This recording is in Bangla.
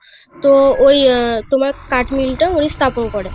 তোমার কাঠমিল টা তিনি স্থাপন করেন